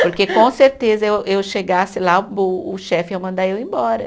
Porque com certeza eu eu chegasse lá, o o chefe ia mandar eu embora.